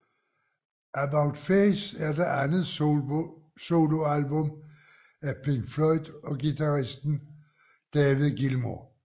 About Face er det andet soloalbum af Pink Floyd guitaristen David Gilmour